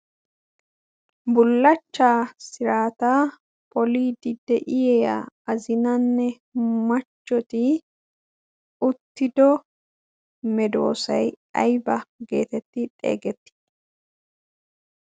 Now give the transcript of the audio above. bullachchaa siraata poliiddi de7iya azinanne machchoti uttido medoosai aiba geetetti xeegettii?